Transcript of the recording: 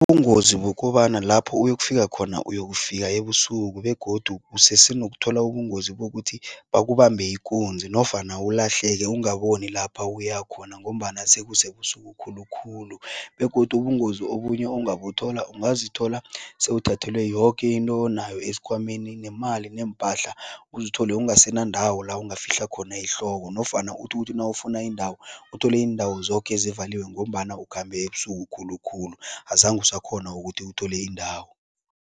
Bungozi bokobana lapho uyokufika khona, ukuyokufika ebusuku begodu usese nokuthola ubungozi bokuthi bakubambe ikunzi nofana ulahleke, ungaboni lapha uya khona ngombana sekusebusuku khulukhulu begodu ubungozi obunye ongabuthola, ungazithola sewuthathelwe yoke into onayo esikhwameni nemali neempahla, uzithole ungasenandawo la ungafihla khona ihloko nofana uthi nawufuna indawo uthole iindawo zoke zivaliwe ngombana ukhambe ebusuku khulukhulu, azange usakghona ukuthi uthole indawo.